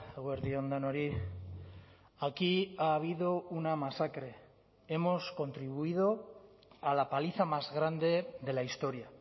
eguerdi on denoi aquí ha habido una masacre hemos contribuido a la paliza más grande de la historia